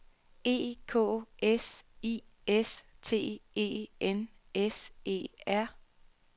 E K S I S T E N S E R